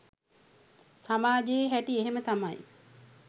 සමාජයේ හැටි එහෙම තමයි